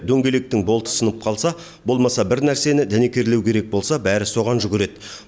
дөңгелектің болты сынып қалса болмаса бір нәрсені дәнекерлеу керек болса бәрі соған жүгіреді